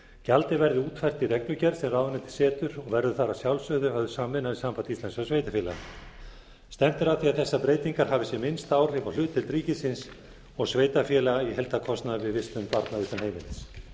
gjaldið verði útfært í reglugerð sem ráðuneytið setur og verður þar að sjálfsögðu höfð samvinna við samband íslenskra sveitarfélaga stefnt er að því að þessar breytingar hafi sem minnst áhrif á hlutdeild ríkisins og sveitarfélaga í heildarkostnaði við vistun barna utan heimilis